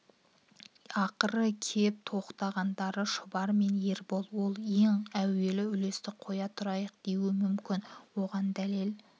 ақыры кеп тоқтағандары шұбар мен ербол ол ең әуелі үлесті қоя тұрайық деуі мүмкін оған дәлел